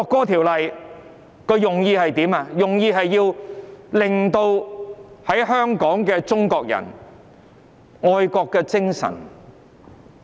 《條例草案》的目的是要令在香港的中國人有愛國的精神。